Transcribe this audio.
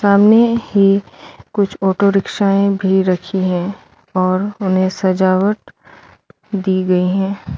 सामने ही कुछ ऑटो रिक्शायें भी रखी हैं और उन्हें सजावट दी गयी है।